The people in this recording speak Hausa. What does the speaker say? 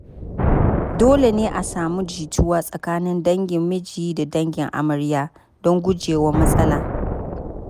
Dole ne a samu jituwa tsakanin dangin miji da dangin amarya don gujewa matsala.